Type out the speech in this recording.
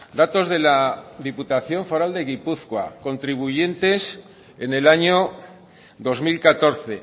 datos de la diputación foral de gipuzkoa contribuyentes en el año dos mil catorce